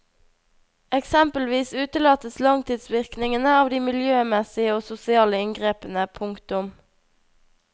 Eksempelvis utelates langtidsvirkningene av de miljømessige og sosiale inngrepene. punktum